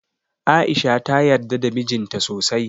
A'isha ta yarda da mijin ta sosai.